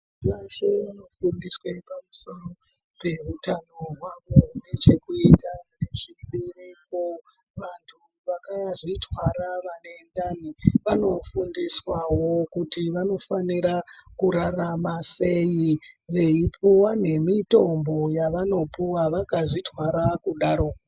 .Munh..weshe anofundiswe pamusoro peutano hwavo hunechekuita nezviripo. Vantu vakazvitwara vanendani vanofundiswawo kuti vanofanira kurarama sei veipuwa nemitombo yavanopuwa vakazvitwara kudaro.